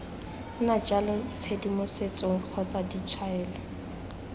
nna jalo tshedimosetso kgotsa ditshwaelo